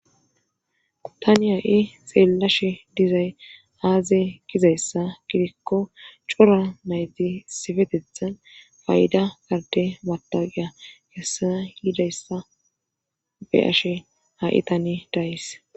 Tani ha7i xeellashe dizay aaze gizayssa gidikko cora nayti issipetethan payda ade matawuqiya kessana yidayssa be7ashe ha7i tani days.